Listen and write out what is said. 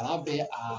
Kalan bɛ a